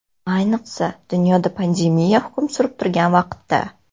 Ayniqsa dunyoda pandemiya hukm surib turgan vaqtda.